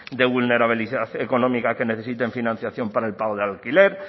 de vulnerabilidad económica que necesiten financiación para el pago de alquiler